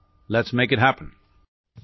let's make it happen